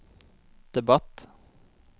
debatt